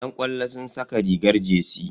Yan ƙwallo suna saka rigar jersey.